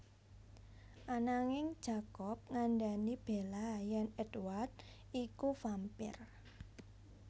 Ananging Jacob ngandhani Bella yèn Édward iku vampire